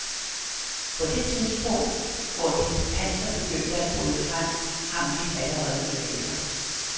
På det tidspunkt hvor dit panser begyndte at bryde frem, hang mit allerede i laser.